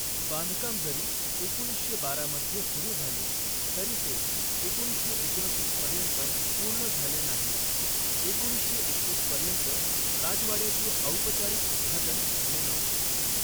बांधकाम जरी एकोणीसशे बारा मध्ये सुरू झाले, तरी ते एकोणीसशे एकोणतीस पर्यंत पूर्ण झाले नाही, एकोणीसशे एकतीस पर्यंत राजवाड्याचे औपचारिक उद्घाटन झाले नव्हते.